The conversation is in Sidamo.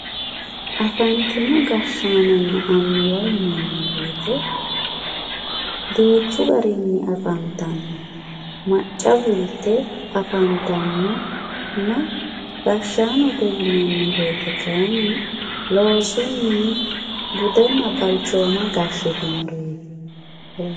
afantino gashshaanonna annuwa yinanni woyiite duuchu garinni afantanno macca fulte afantannonna gashshaanote yinanni woyiite kayiinni loosunni budenna balchooma gashshitinoreeti.